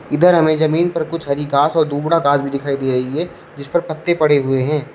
इधर हमें जमीन पर कुछ हरी घास और दुगना घास भी दिखाई दे रही हैं जिस पर पत्ते पड़े हुए है।